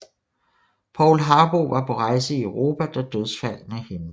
Paul Harboe var på rejse i Europa da dødsfaldene hænde